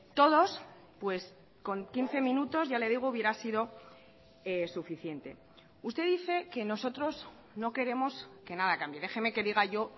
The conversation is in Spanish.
todos pues con quince minutos ya le digo hubiera sido suficiente usted dice que nosotros no queremos que nada cambie déjeme que diga yo